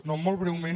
no molt breument